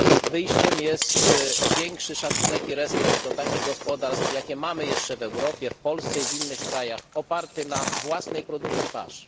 Wyjściem jest większy szacunek i respekt do takich gospodarstw, jakie mamy jeszcze w Europie, w Polsce i w innych krajach opartych na własnej produkcji pasz.